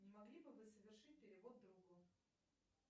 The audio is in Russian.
не могли бы вы совершить перевод другу